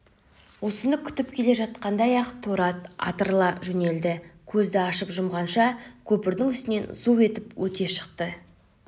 осыны күтіп келе жатқаңдай-ақ торы ат атырыла жөнелді көзді ашып-жұмғанша көпірдің үстінен зу етіп өте шықты